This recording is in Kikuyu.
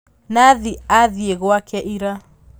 Nathi athĩe gwake ira.